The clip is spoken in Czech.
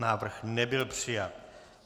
Návrh nebyl přijat.